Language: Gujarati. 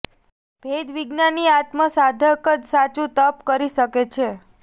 ભેદ વિજ્ઞાની આત્મ સાધક જ સાચું તપ કરી શકે છે